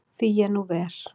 Því er nú ver.